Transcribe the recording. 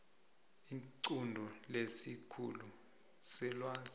iqunto lesikhulu selwazi